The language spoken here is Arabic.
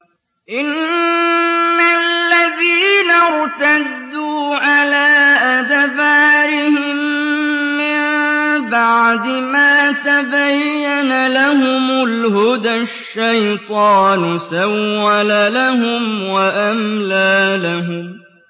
إِنَّ الَّذِينَ ارْتَدُّوا عَلَىٰ أَدْبَارِهِم مِّن بَعْدِ مَا تَبَيَّنَ لَهُمُ الْهُدَى ۙ الشَّيْطَانُ سَوَّلَ لَهُمْ وَأَمْلَىٰ لَهُمْ